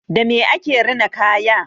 Dame ake rina kaya?